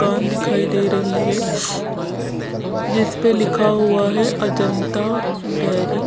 corn दिखाई दे रही हैं जिसपे लिखा हुआ हैं अजंता डेयरी --